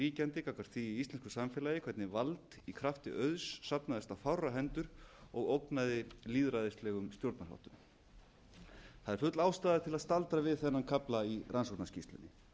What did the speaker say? ríkjandi gagnvart því íslenska samfélagi hvernig vald í krafti auðs safnaðist á fárra hendur og ógnaði lýðræðislegum stjórnarháttum það er full ástæða til að staldra við þennan kafla í rannsóknarskýrslunni